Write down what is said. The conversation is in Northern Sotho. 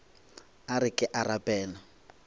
a re ke a rapela